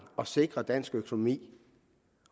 at sikre dansk økonomi